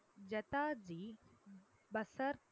ஜதாதி பசார்